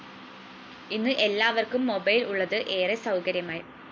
ഇന്ന് എല്ലാവര്‍ക്കും മൊബൈൽ ഉള്ളത് ഏറെ സൗകര്യമായി